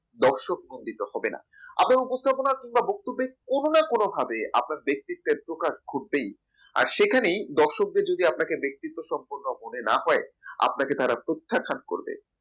দর্শক মন্ডিত হবে না আপনার উপস্থাপনা কিংবা বক্তব্যের কোনো না কোনোভাবে আপনি ব্যক্তিত্বের প্রকাশ ঘটবেই আর সেখানে দর্শকদের যদি আপনাকে ব্যক্তিগত সম্পর্ক না মনে হয় আপনাকে তারা প্রত্যাখ্যান করবে